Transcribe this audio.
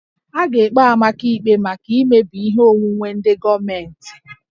A ga-ekpe Amaka ikpe maka imebi ihe onwunwe ndị gọọmentị